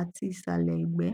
ati isale egbe